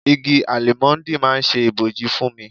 Igi Álímọ́ńdì máa ń ṣe ibòji fún mi.